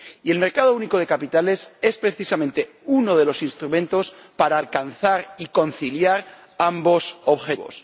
Y el mercado único de capitales es precisamente uno de los instrumentos para alcanzar y conciliar ambos objetivos.